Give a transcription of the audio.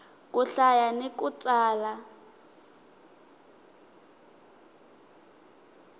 ku hlaya ni ku tsala